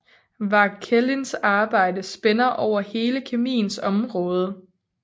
Vauquelins arbejde spænder over hele kemiens område